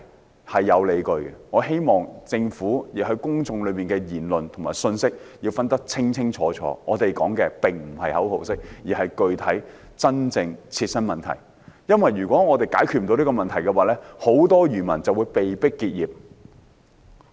不，是有理據的，我希望政府把公眾言論和信息清楚分開，我們說的並非口號式的反對，而是具體、真正的切身問題，因為如果我們不能解決這些問題，很多漁民會被迫結業。